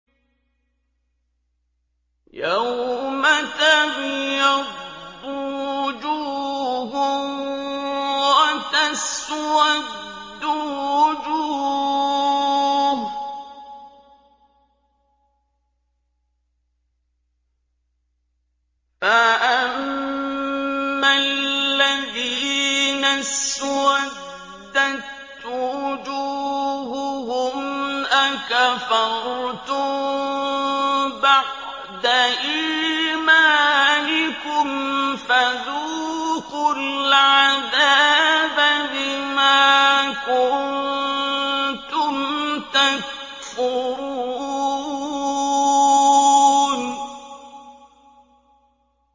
يَوْمَ تَبْيَضُّ وُجُوهٌ وَتَسْوَدُّ وُجُوهٌ ۚ فَأَمَّا الَّذِينَ اسْوَدَّتْ وُجُوهُهُمْ أَكَفَرْتُم بَعْدَ إِيمَانِكُمْ فَذُوقُوا الْعَذَابَ بِمَا كُنتُمْ تَكْفُرُونَ